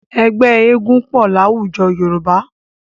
Ẹgbẹ́ eégún pọ̀ láwùjọ Yorùbá.